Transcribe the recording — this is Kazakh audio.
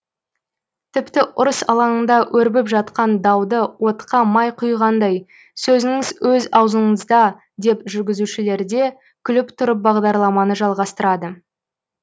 тіпті ұрыс алаңында өрбіп жатқан дауды отқа май құйғандай сөзіңіз өз аузыңызда деп жүргізушілерде күліп тұрып бағдарламаны жалғастырады